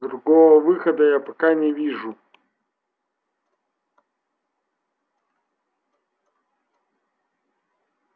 другого выхода я пока не вижу